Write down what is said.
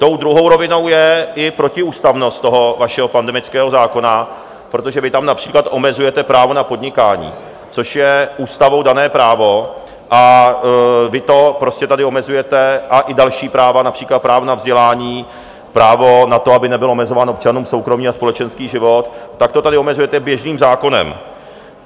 Tou druhou rovinou je i protiústavnost toho vašeho pandemického zákona, protože vy tam například omezujete právo na podnikání, což je ústavou dané právo, a vy to prostě tady omezujete, a i další práva, například právo na vzdělání, právo na to, aby nebyl omezován občanům soukromý a společenský život, tak to tady omezujete běžným zákonem.